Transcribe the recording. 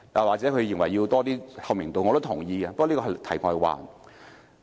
或許區議員認為要有更高透明度，我是同意的，不過這是題外話。